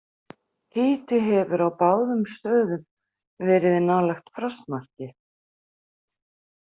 Hiti hefur á báðum stöðum verið nálægt frostmarki.